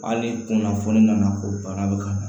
Hali ni kunnafoni nana ko bana bɛ ka na